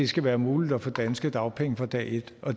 skal være muligt at få danske dagpenge fra dag et